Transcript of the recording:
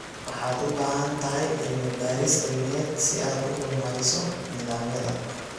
Waxaad u baahan tahay cilmi-baaris cilmiyeed si aad u horumariso nidaamyada.